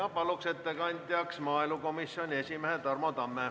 Palun ettekandjaks maaelukomisjoni esimehe Tarmo Tamme.